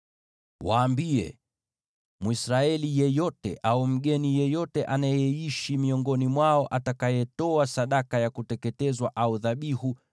“Waambie: ‘Mwisraeli yeyote au mgeni yeyote anayeishi miongoni mwao atakayetoa sadaka ya kuteketezwa au dhabihu